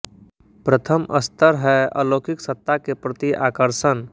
प्रथम स्तर है अलौकिक सत्ता के प्रति आकर्षण